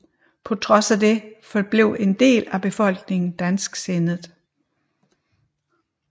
På trods af det forblev en del af befolkningen dansksindet